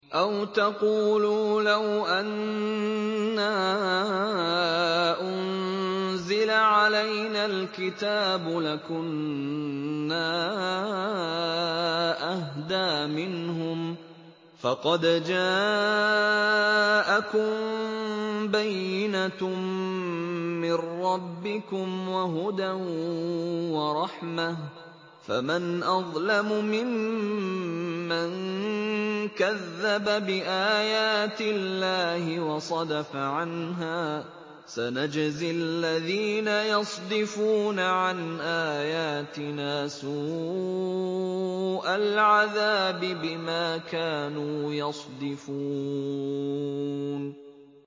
أَوْ تَقُولُوا لَوْ أَنَّا أُنزِلَ عَلَيْنَا الْكِتَابُ لَكُنَّا أَهْدَىٰ مِنْهُمْ ۚ فَقَدْ جَاءَكُم بَيِّنَةٌ مِّن رَّبِّكُمْ وَهُدًى وَرَحْمَةٌ ۚ فَمَنْ أَظْلَمُ مِمَّن كَذَّبَ بِآيَاتِ اللَّهِ وَصَدَفَ عَنْهَا ۗ سَنَجْزِي الَّذِينَ يَصْدِفُونَ عَنْ آيَاتِنَا سُوءَ الْعَذَابِ بِمَا كَانُوا يَصْدِفُونَ